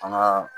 An ka